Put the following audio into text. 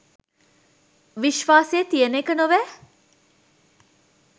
විශ්වාසය තියන එක නොවැ